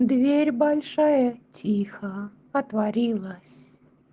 дверь большая тихо отворилась